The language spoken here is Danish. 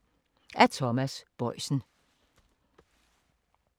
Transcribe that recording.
Af Thomas Boisen